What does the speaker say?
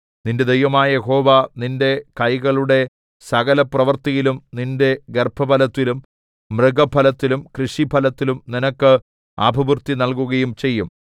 നിന്റെ ദൈവമായ യഹോവ നിന്റെ കൈകളുടെ സകലപ്രവൃത്തിയിലും നിന്റെ ഗർഭഫലത്തിലും മൃഗഫലത്തിലും കൃഷിഫലത്തിലും നിനക്ക് അഭിവൃദ്ധി നല്കുകയും ചെയ്യും